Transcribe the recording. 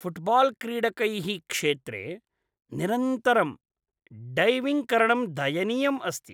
फ़ुट्बाल्क्रीडकैः क्षेत्रे निरन्तरं डैविङ्ग्करणं दयनीयम् अस्ति।